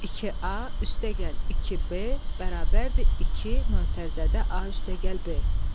2a + 2b = 2 (a + b).